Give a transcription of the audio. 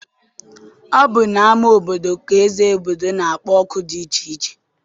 Ọ bụ n'ama obodo ka eze obodo na-akpọ oku dị iche iche.